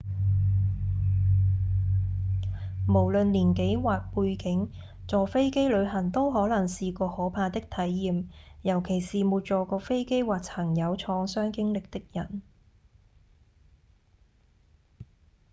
無論年紀或背景坐飛機旅行都可能是個可怕的體驗尤其是沒坐過飛機或曾有創傷經歷的人